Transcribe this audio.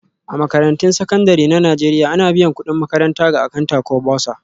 A Makarantun Sakandare na Najeriya, ana biyan kudin makaranta ga Akanta ko Bursar